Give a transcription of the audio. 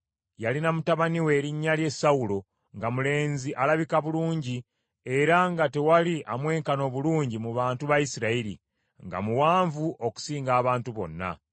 Yalina mutabani we erinnya lye Sawulo, nga mulenzi alabika bulungi, era nga tewali amwenkana obulungi mu bantu ba Isirayiri, nga muwanvu okusinga abantu bonna.